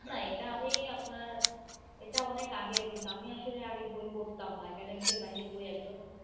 না এটা আমি আপনার এটা অনেক আগের কিন্তু আমি আসলে আগে বই পড়তাম না academic এর বাহিরে বই একদমই পড়তাম না.